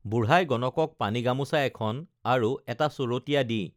বুঢ়াই গণকক পানী গামোছা এখন আৰু এটা চৰতীয়া দি